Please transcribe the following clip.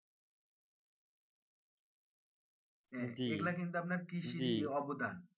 এগুলা কিন্তু আপনার কৃষির অবদান